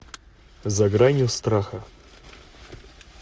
за гранью страха